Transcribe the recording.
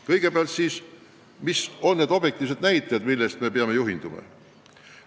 Kõigepealt, mis on need objektiivsed näitajad, millest me peame juhinduma?